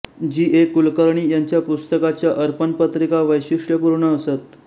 जी A Kulkarni यांच्या पुस्तकांच्या अर्पणपत्रिका वैशिष्ट्यपूर्ण असत